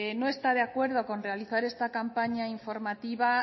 no está de acuerdo con realizar esta campaña informativa